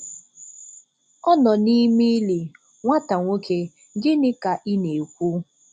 Ọ nọ n'ime ili, nwata nwoke, gịnị ka ị na - ekwu?